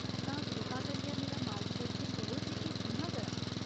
तां, कृपा करियै मेरा मार्गदर्शन करो जे एह् कि'यां करां।